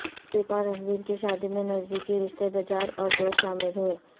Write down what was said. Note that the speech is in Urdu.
دپیکا اور رنویر کی شادی میں نزدیکی رشتے دجار اور دوست شامل ہوئے